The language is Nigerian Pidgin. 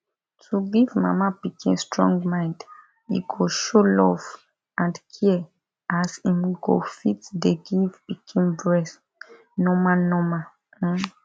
to give mama pikin strong mind e go show love and care as im go fit dey give pikin breast normal normal um